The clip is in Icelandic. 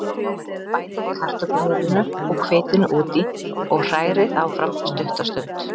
Bætið kartöflumjölinu og hveitinu út í og hrærið áfram stutta stund.